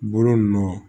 Bolo nɔ